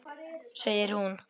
Segir hún.